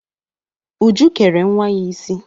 Uju kere nwa ya isi.